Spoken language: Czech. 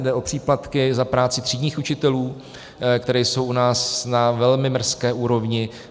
Jde o příplatky za práci třídních učitelů, které jsou u nás na velmi mrzké úrovni.